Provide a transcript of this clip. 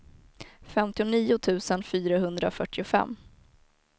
femtionio tusen fyrahundrafyrtiofem